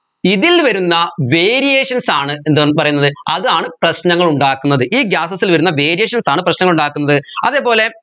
ഇതിൽ വരുന്ന variations ആണ് എന്ത് ഉം പറയുന്നത് അതാണ് പ്രശ്നങ്ങൾ ഉണ്ടാക്കുന്നത് ഈ gases ൽ വരുന്ന variations ആണ് പ്രശ്നങ്ങൾ ഉണ്ടാക്കുന്നത് അതേപോലെ